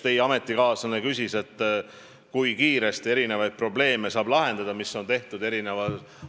Teie ametikaaslane küsis, kui kiiresti saab eri ajahorisontidel tekitatud probleeme lahendada.